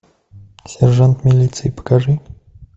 сержант милиции покажи